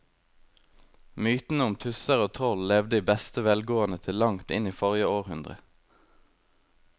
Mytene om tusser og troll levde i beste velgående til langt inn i forrige århundre.